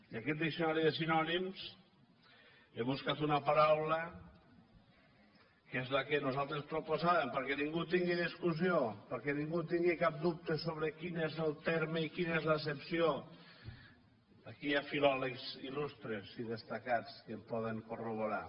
i en aquest diccionari de sinònims hi he buscat una paraula que és la que nosaltres proposàvem perquè ningú tingui discussió perquè ningú tingui cap dubte sobre quin és el terme i quina és l’accepció aquí hi ha filòlegs il·lustres i destacats que ho poden corroborar